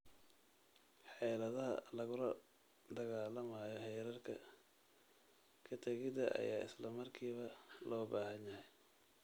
Xeeladaha lagula dagaalamayo heerarka ka-tagidda ayaa isla markiiba loo baahan yahay.